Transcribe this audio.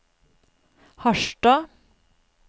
Harstad